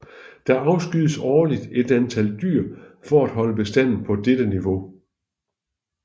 Der afskydes årligt et antal dyr for at holde bestanden på dette niveau